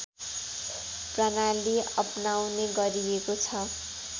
प्रणाली अपनाउने गरिएको छ